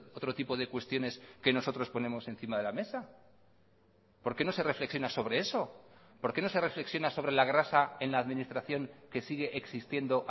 otro tipo de cuestiones que nosotros ponemos encima de la mesa por qué no se reflexiona sobre eso por qué no se reflexiona sobre la grasa en la administración que sigue existiendo